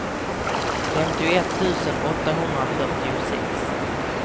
femtioett tusen åttahundrafyrtiosex